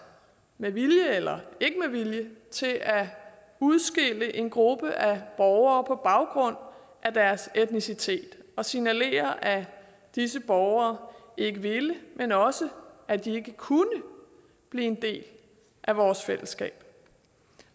med vilje eller ikke med vilje til at udskille en gruppe af borgere på baggrund af deres etnicitet og signalere at disse borgere ikke ville men også at de ikke kunne blive en del af vores fællesskab